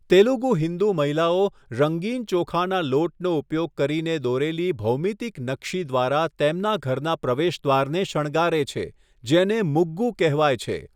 તેલુગુ હિન્દુ મહિલાઓ રંગીન ચોખાના લોટનો ઉપયોગ કરીને દોરેલી ભૌમિતિક નકશી દ્વારા તેમના ઘરના પ્રવેશદ્વારને શણગારે છે, જેને મુગ્ગુ કહેવાય છે.